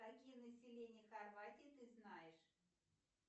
какие населения хорватии ты знаешь